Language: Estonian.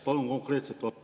Palun konkreetset vastust.